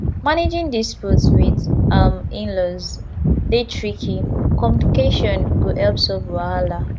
managing disputes with um inlaws dey tricky communication go help solve wahala